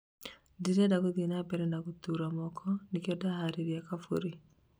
ndirenda gũthiĩ na mbere na gũtũra mũno, nĩkĩo ndaharĩria Kaburi